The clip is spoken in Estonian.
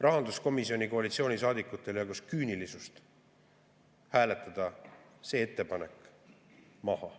rahanduskomisjoni koalitsioonisaadikutel jagus küünilisust hääletada see ettepanek maha.